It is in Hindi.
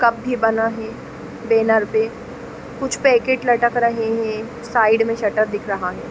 कप भी बना हे बैनर पे कुछ पैकेट लटक रहे हे साइड में शटर दिख रहा है--